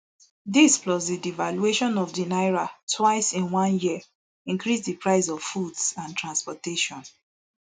dis plus di devaluation of di naira twice in one year increase di price of foods and transportation